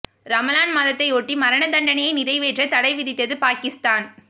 ரமலான் மாதத்தையொட்டி மரண தண்டனையை நிறைவேற்ற தடை விதித்தது பாகிஸ்தான்